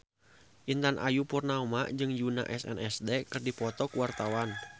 Intan Ayu Purnama jeung Yoona SNSD keur dipoto ku wartawan